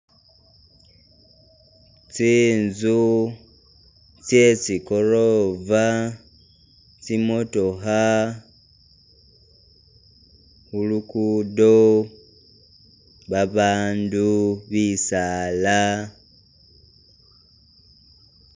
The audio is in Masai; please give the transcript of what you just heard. Tsi'nzu tsetsikorova, tsimotokha khulukudo, babandu, bisaala